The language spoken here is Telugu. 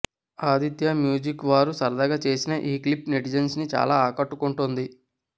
ఆదిత్య మ్యూజిక్ వారు సరదాగా చేసిన ఈ క్లిప్ నెటిజన్స్ ని చాలా ఆకట్టుకుంటోంది